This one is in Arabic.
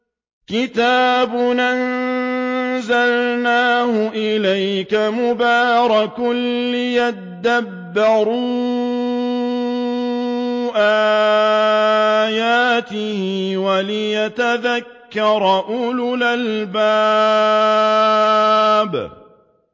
كِتَابٌ أَنزَلْنَاهُ إِلَيْكَ مُبَارَكٌ لِّيَدَّبَّرُوا آيَاتِهِ وَلِيَتَذَكَّرَ أُولُو الْأَلْبَابِ